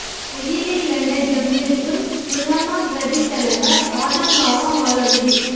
அகில இலங்கை ஜம்மியத்துல் உலமா பிரதித்தலைவர் ஆதம்பாவா மௌலவி